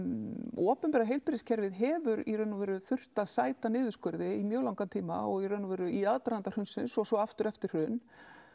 opinbera heilbrigðiskerfið hefur í raun og veru þurft að sæta niðurskurði í mjög langan tíma og í raun og veru í aðdraganda hrunsins og svo aftur eftir hrun